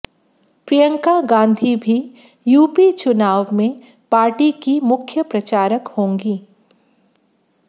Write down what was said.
प्रियंका गांधी भी यूपी चुनाव में पार्टी की मुख्य प्रचारक होंगी